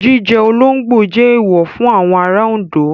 Jíjẹ olóńgbò jẹ́ èèwọ̀ fún àwọn ará Oǹdó.